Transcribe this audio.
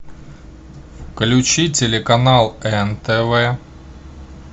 включи телеканал нтв